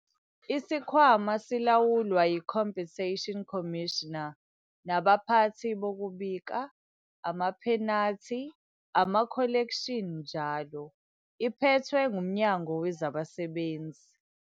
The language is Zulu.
Isikhwama silawulwa yi-Compensation Commissioner nabaphathi bokubika, amaphenathi, amakholekshini njl. iphethwe nguMnyango weZabasebenzi.